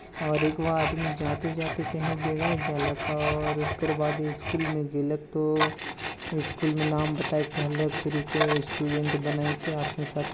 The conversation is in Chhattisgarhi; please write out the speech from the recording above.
और अघो आदमी जाते-जाते कही बेड़ा जला और एकर बाद स्कूल मे कही नाम बताए क कही के स्टूडेंट बनाई के अपने साथी--